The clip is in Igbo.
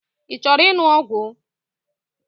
I chọrọ ịṅụ ngwọ?